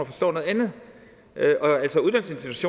forstår noget andet